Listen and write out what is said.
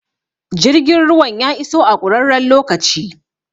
Jirgin ruwan ya iso a ƙurarren lokaci